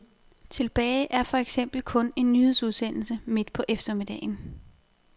Tilbage er for eksempel kun en nyhedsudsendelse midt på eftermiddagen.